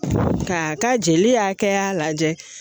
K'a ka jeli hakɛya lajɛ